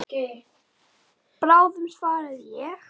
Bráðum svaraði ég.